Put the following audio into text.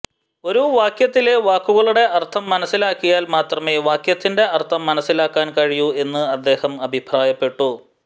ഒരു വാക്യത്തിലെ വാക്കുകളുടെ അർത്ഥം മനസ്സിലാക്കിയാൽ മാത്രമേ വാക്യത്തിന്റെ അർത്ഥം മനസ്സിലാക്കാൻ കഴിയൂ എന്ന് അദ്ദേഹം അഭിപ്രായപ്പെട്ടു